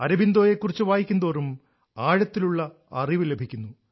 അരബിന്ദോയെക്കുറിച്ച് വായിക്കുന്തോറും ആഴത്തിലുള്ള അറിവ് ലഭിക്കുന്നു